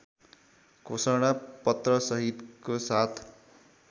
घोषणा पत्रसहितको साथ